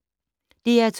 DR2